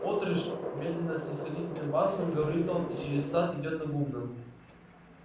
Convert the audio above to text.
отрыж медленно снисходительным басом говорит он и через сад идёт на гумно